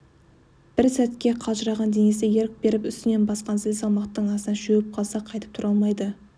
бір сәтке қалжыраған денесіне ерік беріп үстінен басқан зіл салмақтың астында шөгіп қалса қайтып тұра алмайды